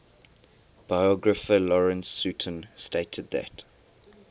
biographer lawrence sutin stated that